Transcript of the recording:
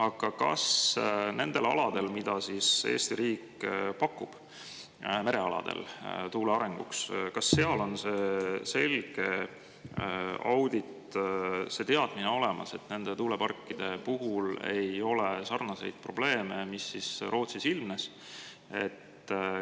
Aga kas nendel aladel, merealadel, mida Eesti riik pakub tuule arenguks, on see selge audit, teadmine olemas, et nende tuuleparkide puhul ei ole sarnaseid probleeme, mis Rootsis ilmnesid?